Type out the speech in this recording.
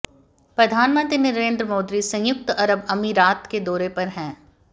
प्रधानमंत्री नरेंद्र मोदी सयुंक्त अरब अमीरात के दौरे पर है